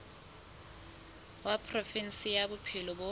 wa provinse ya bophelo bo